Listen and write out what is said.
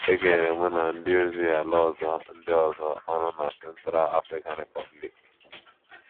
E kenyere mụ na ndị ozi ala ọzọ ndị ọzọ ọrụ na Central African Republic.